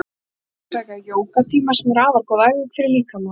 Margir sækja jógatíma sem eru afar góð æfing fyrir líkama og sál.